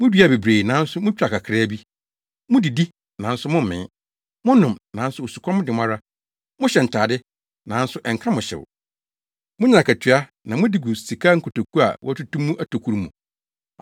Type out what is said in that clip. Muduaa bebree, nanso mutwaa kakraa bi. Mudidi, nanso mommee. Monom, nanso osukɔm de mo ara. Mohyɛ ntade, nanso ɛnka mo hyew. Munya akatua, na mode gu sika nkotoku a wɔatutu mu atokuru mu.”